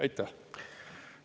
Aitäh!